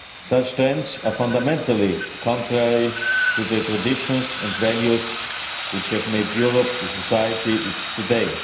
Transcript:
Such trends are fundamentally contrary to the traditions and values which have made Europe the society it is today.